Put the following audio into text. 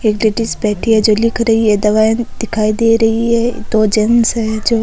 एक लेडिस बैठी है जो लिख रही है दवाई दिखाई दे रही है दो जेंट्स है जो --